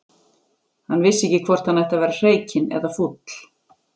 Hann vissi ekki hvort hann ætti að vera hreykinn eða fúll.